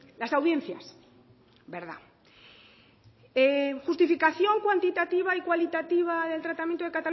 las audiencias verdad justificación cuantitativa y cualitativa del tratamiento de